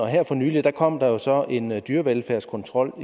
her for nylig kom der så en dyrevelfærdskontrol